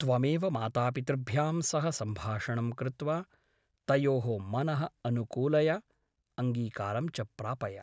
त्वमेव मातापितृभ्यां सह सम्भाषणं कृत्वा तयोः मनः अनुकूलय , अङ्गीकारं च प्रापय ।